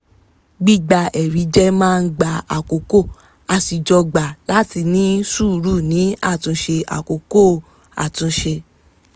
gbígba ẹ̀rí jẹ́ máa ń gba àkókò a sì jọ gbà láti ní sùúrù ní àtúnṣe àkókò àtúnṣe